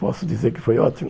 Posso dizer que foi ótimo?